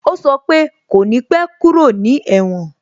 O sọ pe "kò ní pẹ́ kúrò ní èwòn"